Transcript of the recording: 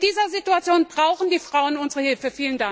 Und in dieser Situation brauchen die Frauen unsere Hilfe!